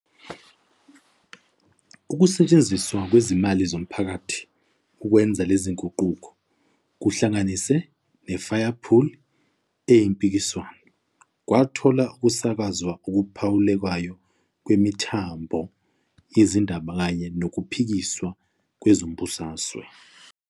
Ukusetshenziswa kwezimali zomphakathi ukwenza lezi zinguquko, kuhlanganise ne-firepool eyimpikiswano, kwathola ukusakazwa okuphawulekayo kwemithombo yezindaba kanye nokuphikiswa kwezombusazwe.